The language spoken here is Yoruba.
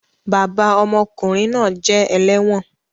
Bàbà ọmọkunrin náà jẹ ẹlẹwọn